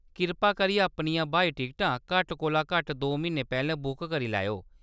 कृपा करियै अपनियां ब्हाई टिकटां घट्ट कोला घट्ट दो म्हीने पैह्‌‌‌लें बुक करी लैएओ।